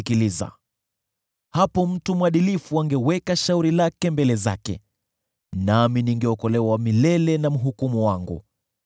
Hapo mtu mwadilifu angeweka shauri lake mbele zake, nami ningeokolewa milele na mhukumu wangu.